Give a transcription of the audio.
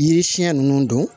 Yiri siɲɛ nunnu don